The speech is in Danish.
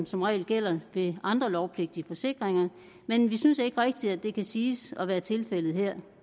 som regel gælder ved andre lovpligtige forsikringer men vi synes ikke rigtigt at det kan siges at være tilfældet her